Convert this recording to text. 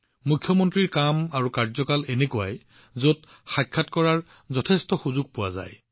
মুখ্যমন্ত্ৰীৰ কাম আৰু কাৰ্যকাল এনেকুৱা একেসময়তে বহুতো সুযোগ আহে